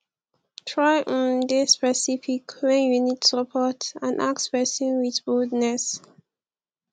try um de specific when you need support and ask persin with boldness